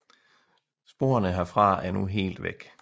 Sporene herfra er nu helt væk